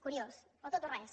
curiós o tot o res